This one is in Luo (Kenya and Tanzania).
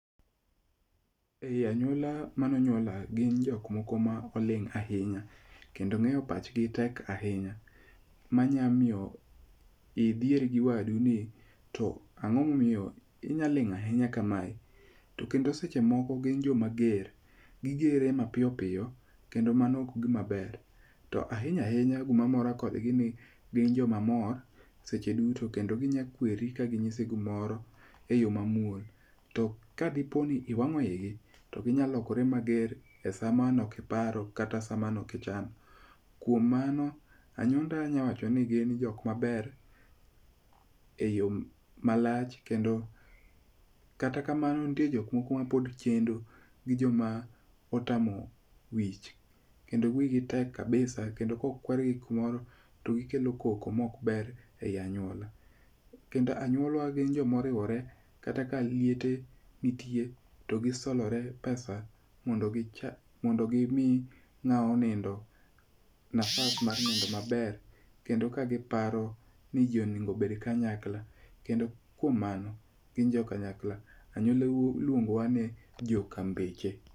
Ea nuola kuma ne onyuola gin jok mokoma oling' ahinya, kendo ng'eyo pachgi tek ahinya. M a nyalo miyo idhier gi wadu ni to ang'o momiyo inyalo ling' ahinya kamae to kendo seche moko gin joma ger. Gi gere mapiyo piyo kendo mano ok en gima ber. To ahinya ahinya gima mora kodgi ni gin joma mor seche duto kendo ginyalo kweri ka ginyisi gimoro eyo mamuol. To kadipo ni iwang'o igi to ginyalo lokore mager e saa mane ok iparo kata saa mane ok ichano. Kuom mano anyuonda anyalo wacho ni gin jok maber eyo malach kendo kata kamano nitie jok moko mapod chendo gi jok ma pod otamo wich kendo wigi tek kabis kendo kokwagi gimoro to gikelo koko maok ber ei anyuola. Kendo anyuola wa gin jok ma oriwore kata ka liel nitie to giriwore mo do gimi ng'at ma onindo nafas mar nindo maber kendo ka giparo niji onego obed kanyakla. Kendo kuom mano gin jo kanyakla. Anyuolawa iluongo ni joka mbeche.